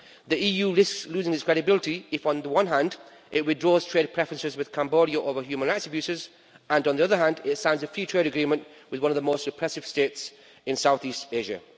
The EU risks losing its credibility, if on the one hand it withdraws trade preferences with Cambodia over human rights abuses, and on the other hand, it signs a trade agreement with one of the most repressive states in Southeast Asia.